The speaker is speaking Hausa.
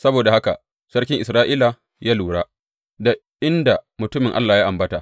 Saboda haka sarkin Isra’ila ya lura da inda mutumin Allah ya ambata.